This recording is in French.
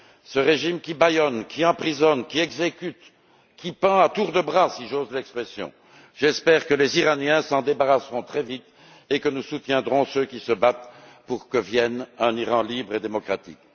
Ce régime qui bâillonne, qui emprisonne, qui exécute, qui pend à tour de bras si j'ose l'expression j'espère que les Iraniens s'en débarrasseront très vite et que nous soutiendrons ceux qui se battent pour l'avènement d'un Iran libre et démocratique.